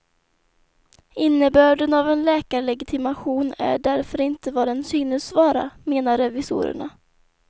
Innebörden av en läkarlegitimation är därför inte vad den synes vara, menar revisorerna.